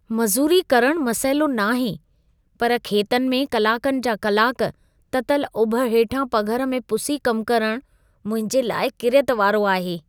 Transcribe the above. मज़ूरी करणु मसइलो न आहे, पर खेतनि में कलाकनि जा कलाक, ततल उभ हेठां पघर में पुसी कमु करणु मुंहिंजे लाइ किरियत वारो आहे।